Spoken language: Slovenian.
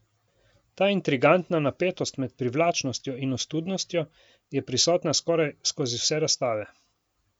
Ta intrigantna napetost med privlačnostjo in ostudnostjo je prisotna skoraj skozi vse razstave.